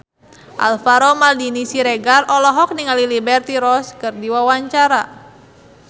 Alvaro Maldini Siregar olohok ningali Liberty Ross keur diwawancara